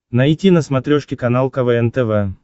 найти на смотрешке канал квн тв